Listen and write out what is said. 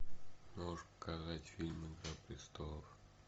можешь показать фильм игра престолов